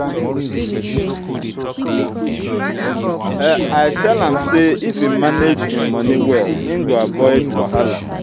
i tell am sey if im manage im money well im go avoid wahala.